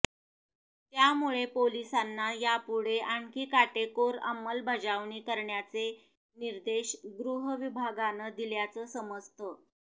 त्यामुळे पोलिसांना यापुढे आणखी काटेकोर अंमलबजावणी करण्याचे निर्देश गृहविभागानं दिल्याचं समजतं